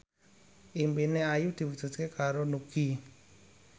impine Ayu diwujudke karo Nugie